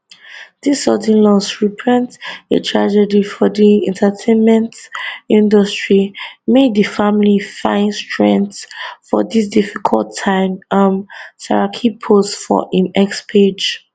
dis sudden loss repreent a tragedy for di entertainment industry may di family fin strength for dis difficult time um saraki post for im x page